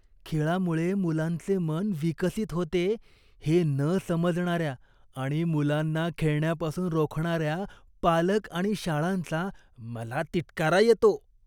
खेळामुळे मुलांचे मन विकसित होते हे न समजणाऱ्या आणि मुलांना खेळण्यापासून रोखणाऱ्या पालक आणि शाळांचा मला तिटकारा येतो.